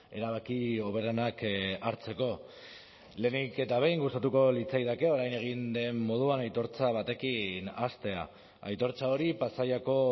erabaki hoberenak hartzeko lehenik eta behin gustatuko litzaidake orain egin den moduan aitortza batekin hastea aitortza hori pasaiako